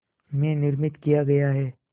में निर्मित किया गया है